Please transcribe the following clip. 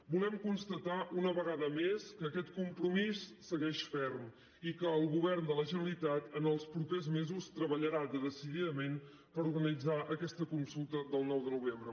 volem constatar una vegada més que aquest compromís segueix ferm i que el govern de la generalitat els propers mesos treballarà decididament per organitzar aquesta consulta del nou de novembre